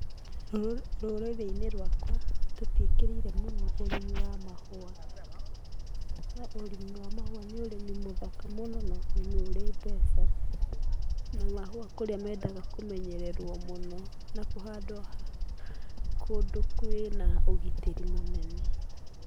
Rũrĩrĩ inĩ rwakwa tũtiĩkĩrĩire ũrĩmi wa mahũa. No ũrĩmi wa mahũa nĩ ũrĩmi mũthaka mũno na nĩ ũrĩ mbeca. Na mahũa kũrĩa mendaga kũmenyererwo mũno na kũhandwo kũndũ kũrĩ ũgitĩri mũnene.